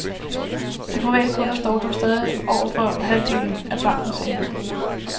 De private kunder står dog stadig for over halvdelen af bankens indlån.